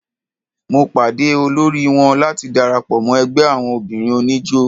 Mo pàde olóri wọn láti darapọ̀ mọ́ ẹgbẹ́ àwon obìnrin oníjó.